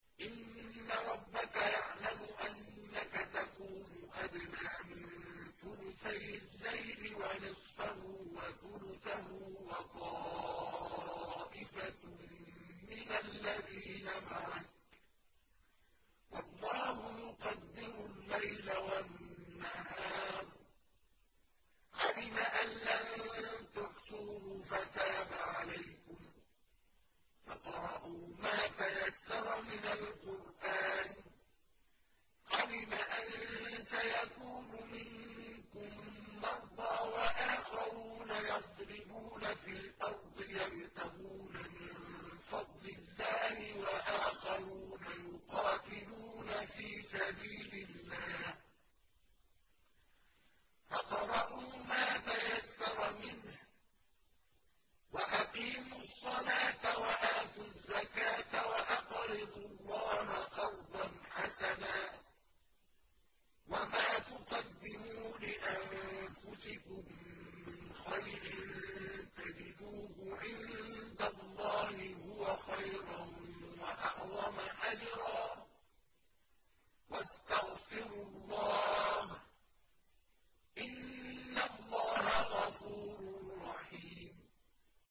۞ إِنَّ رَبَّكَ يَعْلَمُ أَنَّكَ تَقُومُ أَدْنَىٰ مِن ثُلُثَيِ اللَّيْلِ وَنِصْفَهُ وَثُلُثَهُ وَطَائِفَةٌ مِّنَ الَّذِينَ مَعَكَ ۚ وَاللَّهُ يُقَدِّرُ اللَّيْلَ وَالنَّهَارَ ۚ عَلِمَ أَن لَّن تُحْصُوهُ فَتَابَ عَلَيْكُمْ ۖ فَاقْرَءُوا مَا تَيَسَّرَ مِنَ الْقُرْآنِ ۚ عَلِمَ أَن سَيَكُونُ مِنكُم مَّرْضَىٰ ۙ وَآخَرُونَ يَضْرِبُونَ فِي الْأَرْضِ يَبْتَغُونَ مِن فَضْلِ اللَّهِ ۙ وَآخَرُونَ يُقَاتِلُونَ فِي سَبِيلِ اللَّهِ ۖ فَاقْرَءُوا مَا تَيَسَّرَ مِنْهُ ۚ وَأَقِيمُوا الصَّلَاةَ وَآتُوا الزَّكَاةَ وَأَقْرِضُوا اللَّهَ قَرْضًا حَسَنًا ۚ وَمَا تُقَدِّمُوا لِأَنفُسِكُم مِّنْ خَيْرٍ تَجِدُوهُ عِندَ اللَّهِ هُوَ خَيْرًا وَأَعْظَمَ أَجْرًا ۚ وَاسْتَغْفِرُوا اللَّهَ ۖ إِنَّ اللَّهَ غَفُورٌ رَّحِيمٌ